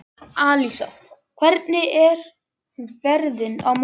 Alísa, hvernig er veðrið á morgun?